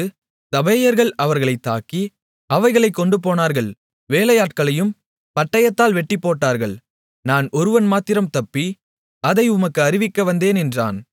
சபேயர்கள் அவைகளை தாக்கி அவைகளைக் கொண்டுபோனார்கள் வேலையாட்களையும் பட்டயத்தால் வெட்டிப்போட்டார்கள் நான் ஒருவன் மாத்திரம் தப்பி அதை உமக்கு அறிவிக்க வந்தேன் என்றான்